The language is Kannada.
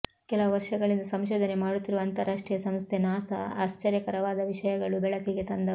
ಕೆಲವು ವರ್ಷಗಳಿಂದ ಸಂಶೋಧನೆ ಮಾಡುತ್ತಿರುವ ಅಂತಾರಾಷ್ಟ್ರೀಯ ಸಂಸ್ಥೆ ನಾಸಾ ಆಶ್ಚರ್ಯಕರವಾದ ವಿಷಯಗಳು ಬೆಳಕಿಗೆ ತಂದವು